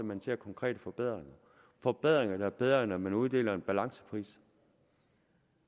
man ser konkrete forbedringer forbedringer der er bedre end at man uddeler en balancepris